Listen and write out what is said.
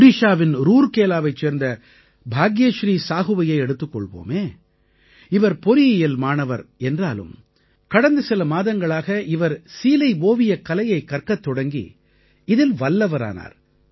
ஒடிஷாவின் ரூர்கேலாவைச் சேர்ந்த பாக்யஸ்ரீ சாஹூவையே எடுத்துக் கொள்வோமே இவர் பொறியியல் மாணவர் என்றாலும் கடந்த சில மாதங்களாக இவர் சீலைஓவியக்கலையைக் கற்கத் தொடங்கி இதில் வல்லவரானார்